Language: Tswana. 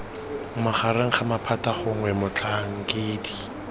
magareng ga maphata gongwe motlhankedi